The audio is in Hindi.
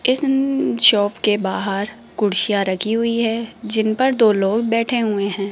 इस न जॉब के बाहर कुर्सियां रखी हुई है जिन पर दो लोग बैठे हुए है।